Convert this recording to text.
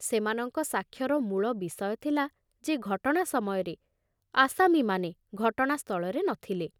ସେମାନଙ୍କ ସାକ୍ଷ୍ୟର ମୂଳ ବିଷୟ ଥିଲା ଯେ ଘଟଣା ସମୟରେ ଆସାମୀମାନେ ଘଟଣାସ୍ଥଳରେ ନ ଥିଲେ।